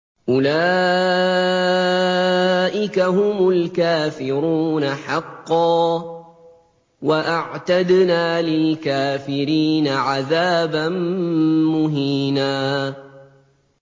أُولَٰئِكَ هُمُ الْكَافِرُونَ حَقًّا ۚ وَأَعْتَدْنَا لِلْكَافِرِينَ عَذَابًا مُّهِينًا